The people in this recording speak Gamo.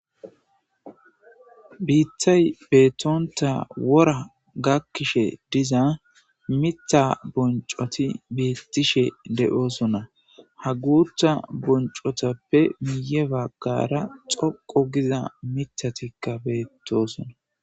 Biithay beettonta wora gakkishe diza miththa bonccoti beettishe de'osona ha guutha bonccotappe miye baggara xoqu giza miththatikka beettosona.